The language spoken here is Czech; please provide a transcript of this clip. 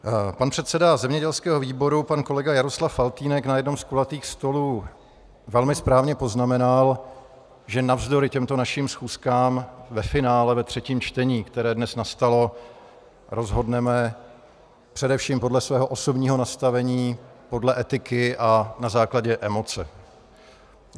Pan předseda zemědělského výboru, pan kolega Jaroslav Faltýnek, na jednom z kulatých stolů velmi správně poznamenal, že navzdory těmto našim schůzkám ve finále ve třetím čtení, které dnes nastalo, rozhodneme především podle svého osobního nastavení, podle etiky a na základě emoce.